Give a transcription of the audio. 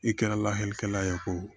I kɛra lahala ye ko